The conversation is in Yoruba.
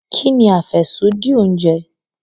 Kini afẹsodi ounje?